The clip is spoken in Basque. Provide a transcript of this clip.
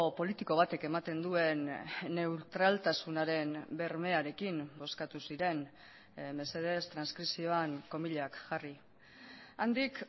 politiko batek ematen duen neutraltasunaren bermearekin bozkatu ziren mesedez transkripzioan komillak jarri handik